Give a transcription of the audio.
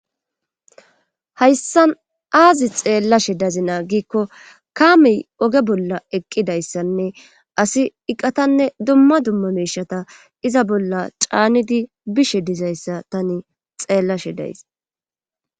hayssan aazi xeellashe dazi naagikko kaamey oge bolla eqqidayssanne asi iqatanne dumma dumma meishata iza bolla caanidi bishe dizayssa tani xeellashe days